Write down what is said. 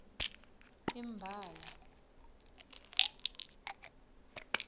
imbala